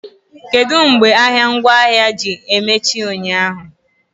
Kedu mgbe ahịa ngwaahịa na-emechi ụnyaahụ?